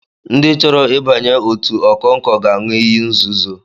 Ndị chọrọ ị banye otu okonko ga-aṅụ iyi nzuzo